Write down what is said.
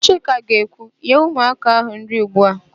Chika ga-ekwu, "nye ụmụaka áhụ̀ nri ugbu a"!